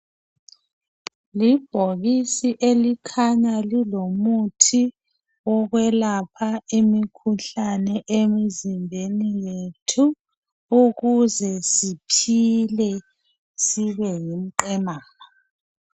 Iibhokisi elikhanya lilomuthi wokwelapha imikhuhlane emizimbeni yethu ukuze siphile sibe ngumqimana